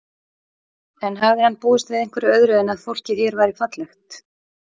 En hafði hann búist við einhverju öðru en að fólkið hér væri fallegt?